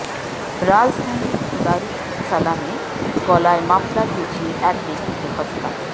রাজধানীর দারুস সালামে গলায় মাফলার পেঁচিয়ে এক ব্যক্তিকে হত্যা